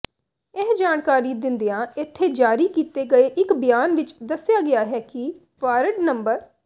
ਇਹ ਜਾਣਕਾਰੀ ਦਿੰਦਿਆਂ ਇਥੇ ਜਾਰੀ ਕੀਤੇ ਗਏ ਇਕ ਬਿਆਨ ਵਿਚ ਦੱਸਿਆ ਗਿਆ ਕਿ ਵਾਰਡ ਨੰ